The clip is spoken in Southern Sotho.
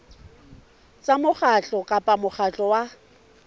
tsa mokgatlo kapa mokgatlo wa